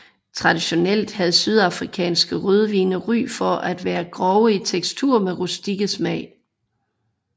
Traditionelt havde sydafrikanske rødvine ry for at være grove i tekstur med rustikke smag